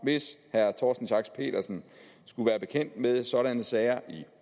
hvis herre torsten schack pedersen skulle være bekendt med sådanne sager i